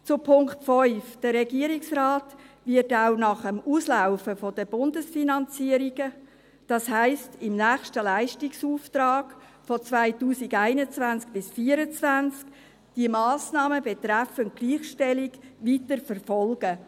Zu Punkt 5: Der Regierungsrat wird auch nach dem Auslaufen der Bundesfinanzierung, das heisst im nächsten Leistungsauftrag von 2021–2024, die Massnahmen betreffend Gleichstellung weiterverfolgen.